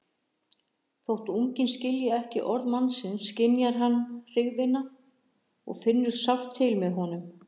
Þó unginn skilji ekki orð mannsins skynjar hann hryggðina og finnur sárt til með honum.